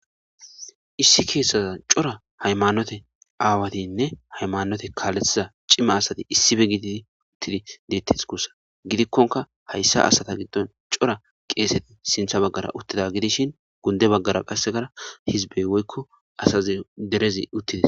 issi keessaza cora haymannote aawatinne haymanote kaalethiza cimma asati issibe gididi uttidi deettes kussa gidikkonka hayssa asata giddon cora qeeseti sintha baggara uttida gidishin gunde baggara qassegara hizbey woykko asazi derezi uttidis